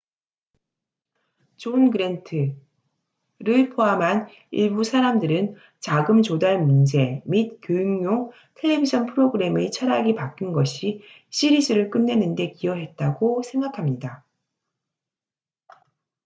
존 그랜트john grant를 포함한 일부 사람들은 자금 조달 문제 및 교육용 텔레비전 프로그램의 철학이 바뀐 것이 시리즈를 끝내는데 기여했다고 생각합니다